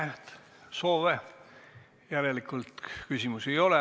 Ei näe soove, järelikult küsimusi ei ole.